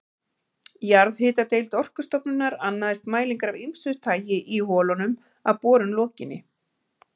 Jarðhitadeild Orkustofnunar annaðist mælingar af ýmsu tagi í holunum að borun lokinni.